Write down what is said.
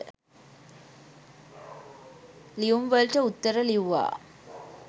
ලියුම්වලට උත්තර ලිව්වා